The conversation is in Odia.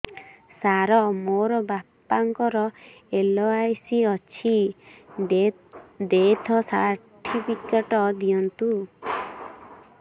ସାର ମୋର ବାପା ଙ୍କର ଏଲ.ଆଇ.ସି ଅଛି ଡେଥ ସର୍ଟିଫିକେଟ ଦିଅନ୍ତୁ